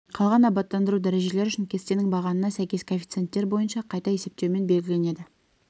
қалған абаттандыру дәрежелері үшін кестенің бағанына сәйкес коэффициенттер бойынша қайта есептеумен белгіленеді